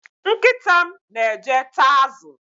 Nkịta m na-eje taa azụ